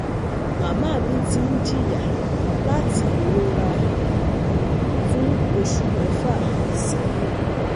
Mama mi ti n jiya lati irora ẹ̀yìn fún oṣu mẹfa sẹ́yìn